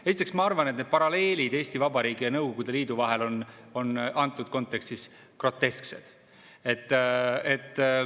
Esiteks, ma arvan, et need paralleelid Eesti Vabariigi ja Nõukogude Liidu vahel on antud kontekstis grotesksed.